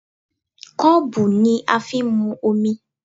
Kọ́ọ̀bù ni a fi ń mu omi